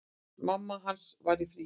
Mamma hans var í fríi.